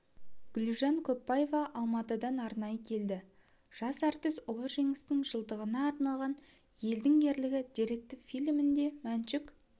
гүлжан көпбаева алматыдан арнайы келді жас әртіс ұлы жеңістің жылдығына арналған елдің ерлігі деректі фильмінде мәншүк